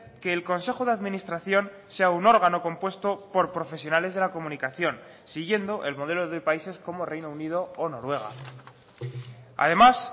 que el consejo de administración sea un órgano compuesto por profesionales de la comunicación siguiendo el modelo de países como reino unido o noruega además